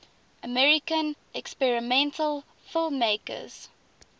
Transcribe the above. american experimental filmmakers